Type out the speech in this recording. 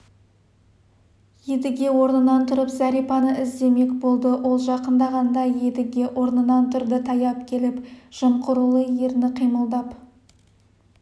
едіге орнынан тұрып зәрипаны іздемек болды ол жақындағанда едіге орнынан тұрды таяп келіп жымқырулы ерні қимылдап